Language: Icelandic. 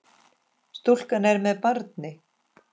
Stúlkan er með barni.